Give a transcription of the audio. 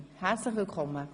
Herzlich willkommen.